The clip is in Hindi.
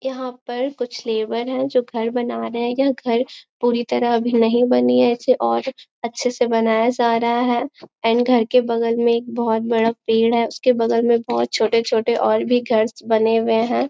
यहाँ पर कुछ लेबर है जो घर बना रहे हैं यह घर पूरी तरह अभी नहीं बनी है इसे और अच्छे से बनाया जा रहा है एंड घर के बगल में एक बहुत बड़ा पेड़ है उसके बगल में बहुत छोटे-छोटे और भी घर बने हुए हैं।